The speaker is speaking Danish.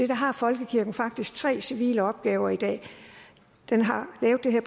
der har folkekirken faktisk tre civile opgaver i dag den har lavet det her